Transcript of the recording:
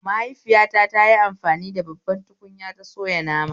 Mahaifiyata tayi amfani da babbar tukunya ta soya nama